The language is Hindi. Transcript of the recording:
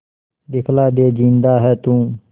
दिखला दे जिंदा है तू